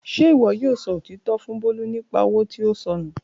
Ṣe iwọ yoo sọ otitọ fun Bolu nipa owo to sọ nu?